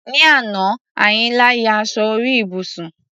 Ní àná, Àyìnlá ya aṣọ orí ibùsùn.